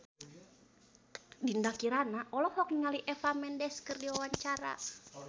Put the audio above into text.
Dinda Kirana olohok ningali Eva Mendes keur diwawancara